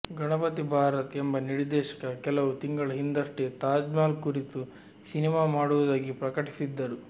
ಗಣಪತಿ ಭಾರತ್ ಎಂಬ ನಿರ್ದೇಶಕ ಕೆಲವು ತಿಂಗಳ ಹಿಂದಷ್ಟೇ ತಾಜ್ಮಹಲ್ ಕುರಿತು ಸಿನಿಮಾ ಮಾಡುವುದಾಗಿ ಪ್ರಕಟಿಸಿದ್ದರು